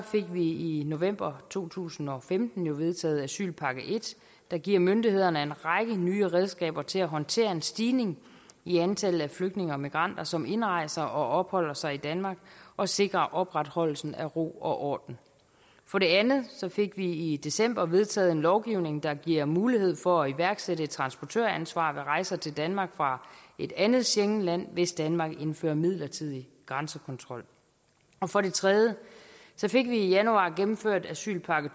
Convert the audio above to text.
vi i november to tusind og femten vedtaget asylpakke i der giver myndighederne en række nye redskaber til at håndtere en stigning i antallet af flygtninge og migranter som indrejser og opholder sig i danmark og sikre opretholdelse af ro og orden for det andet fik vi i december vedtaget en lovgivning der giver mulighed for at iværksætte et transportøransvar ved rejser til danmark fra et andet schengenland hvis danmark indfører midlertidig grænsekontrol for det tredje fik vi i januar gennemført asylpakke